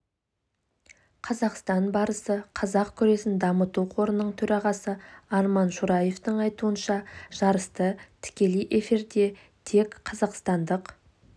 қазақстан барысы қазақ күресін дамыту қорының төрағасы арман шураевтың айтуынша жарысты тікелей эфирде тек қазақстандық